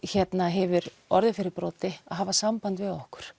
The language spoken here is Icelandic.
hefur orðið fyrir broti að hafa samband við okkur